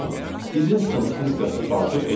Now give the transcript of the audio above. isinstance funksiyasını daxil etdik.